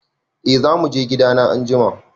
E, za mu je gidana anjima.